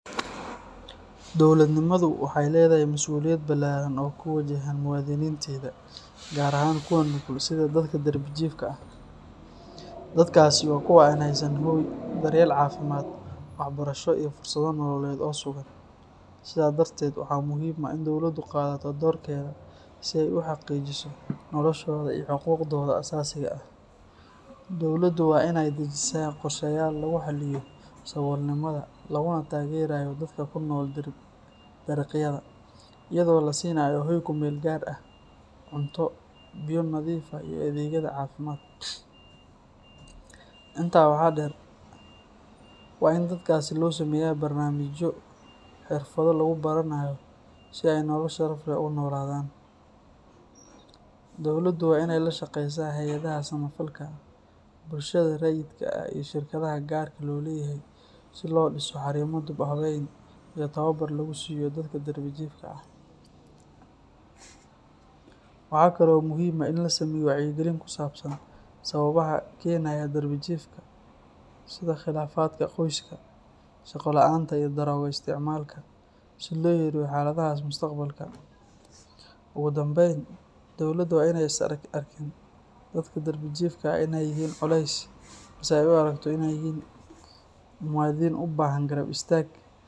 Dowladnimadu waxay leedahay masuuliyad ballaaran oo ku wajahan muwaadiniinteeda, gaar ahaan kuwa nugul sida dadka darbi jiifka ah. Dadkaasi waa kuwa aan haysan hoy, daryeel caafimaad, waxbarasho iyo fursado nololeed oo sugan. Sidaa darteed, waxaa muhiim ah in dowladdu qaadato doorkeeda si ay u xaqiijiso noloshooda iyo xuquuqdooda aasaasiga ah. Dowladdu waa in ay dejisaa qorshayaal lagu xallinayo saboolnimada, laguna taageerayo dadka ku nool dariiqyada, iyadoo la siinayo hoy ku meel gaar ah, cunto, biyo nadiif ah iyo adeegyada caafimaad. Intaa waxaa dheer, waa in dadkaasi loo sameeyaa barnaamijyo xirfado lagu baranayo, si ay nolol sharaf leh ugu noolaadaan. Dowladdu waa in ay la shaqaysaa hay’adaha samafalka, bulshada rayidka ah iyo shirkadaha gaarka loo leeyahay si loo dhiso xarumo dib u habeyn iyo tababar lagu siiyo dadka darbi jiifka ah. Waxa kale oo muhiim ah in la sameeyo wacyigelin ku saabsan sababaha keenaya darbi jiifka, sida khilaafaadka qoyska, shaqo la’aanta iyo daroogo isticmaalka, si loo yareeyo xaaladahaas mustaqbalka. Ugu dambayn, dowladda waa in aysan arkin dadka darbi jiifka ah inay yihiin culays, balse ay u aragto inay yihiin muwaadini u baahan garab istaag.